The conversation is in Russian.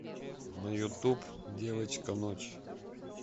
на ютуб девочка ночь